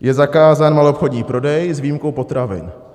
Je zakázán maloobchodní prodej s výjimkou potravin.